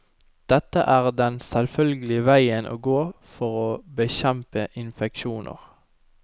Dette er den selvfølgelige veien å gå for å bekjempe infeksjoner.